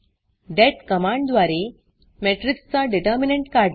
देत कमांडद्वारे matrixमेट्रिक्स चा determinantडिटरमिनॅंट काढणे